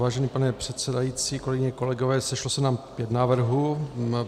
Vážený pane předsedající, kolegyně, kolegové, sešlo se nám pět návrhů.